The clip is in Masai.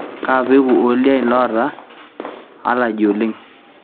kaa peku ooldiein loota allegy oleng